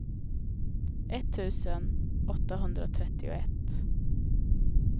etttusen åttahundratrettioett